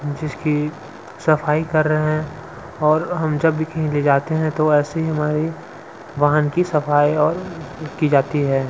जिसकी सफाई कर रहे हैं। और हम जब भी कहीं ले जाते हैं तो ऐसे ही हमारी वाहन की सफाई और की जाती है.